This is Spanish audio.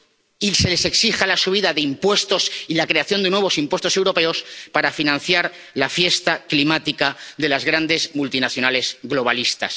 y se exija la subida de impuestos y la creación de nuevos impuestos europeos para financiar la fiesta climática de las grandes multinacionales globalistas.